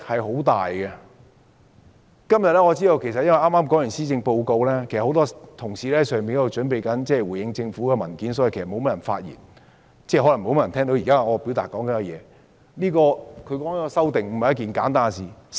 由於今天剛剛發表了施政報告，很多同事正準備回應政府的文件，所以發言的議員不多，而可能聽到我發言的議員也不多，但是，這項修訂並非簡單的事情。